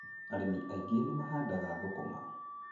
Arĩmi aingĩ nĩ mahandaga thũkũma.